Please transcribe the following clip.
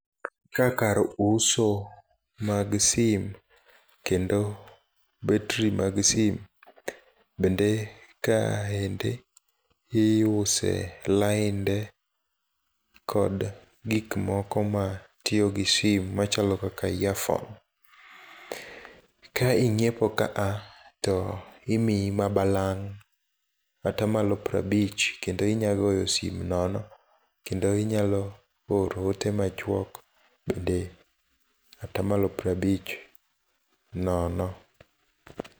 Ka kar uso mag sim, kendo battery mag sim bende kaende iuse lainde kod gikmoko matiyogi sim machalo kaka earphone. Ka inyiepo ka to imiyi mabalang' kata malup pirabich kendo inyagoyo sim nono, kendo inya oro ode machuok bende atamalo pirabich nono.